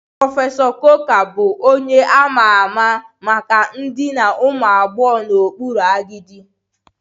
Prọfesọ Coker bụ onye a ma ama maka idina ụmụ agbọghọ n'okpuru agadi